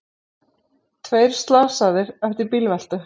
Tveir slasaðir eftir bílveltu